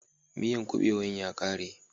Miyan kubewan ya kare